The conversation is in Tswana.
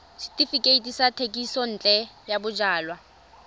setefikeiti sa thekisontle ya bojalwa